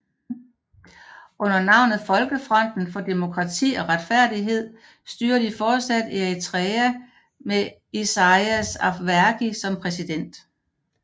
Under navnet folkefronten for demokrati og retfærdighed styrer de fortsat Eritrea med Isaias Afwerki som præsident